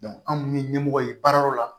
anw minnu ye ɲɛmɔgɔ ye baara yɔrɔ la